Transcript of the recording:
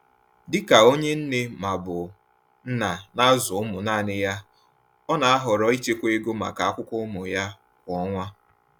Dị ka onye nne/nna na-azụ ụmụ naanị ya, ọ na-ahọrọ ichekwa ego maka akwụkwọ ụmụ ya kwa ọnwa.